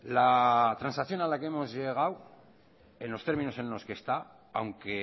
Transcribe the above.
la transacción a la que hemos llegado en los términos en los que está aunque